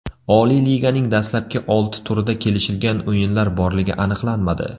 Oliy Liganing dastlabki olti turida kelishilgan o‘yinlar borligi aniqlanmadi .